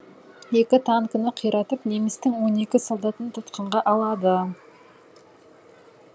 екі танкіні қиратып немістің он екі солдатын тұтқынға алады